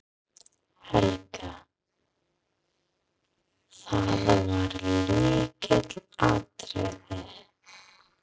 Helga: Það var lykilatriðið?